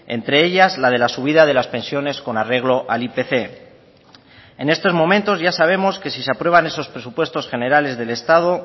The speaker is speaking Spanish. entre ellas la de la subida de las pensiones con arreglo al ipc en estos momentos ya sabemos que si se aprueban esos presupuestos generales del estado